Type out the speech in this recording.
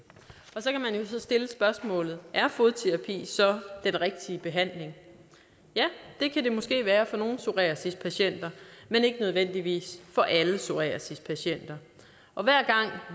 så stille spørgsmålet er fodterapi så den rigtige behandling ja det kan det måske være for nogle psoriasispatienter men ikke nødvendigvis for alle psoriasispatienter og hver gang